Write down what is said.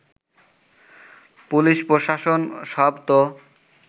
police প্রশাসন সব তো